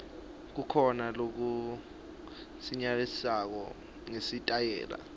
kukhona lokusilelako ngesitayela